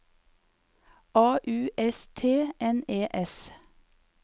A U S T N E S